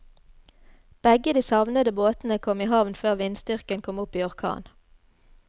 Begge de savnede båtene kom i havn før vindstyrken kom opp i orkan.